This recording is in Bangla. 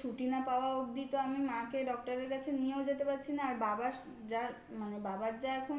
ছুটি না পাওয়া অবধি তো আমি মাকে doctor এর কাছে নিয়েও যেতে পারছি না আর বাবা যা মানে বাবার যা এখন